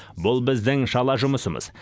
бұл біздің шала жұмысымыз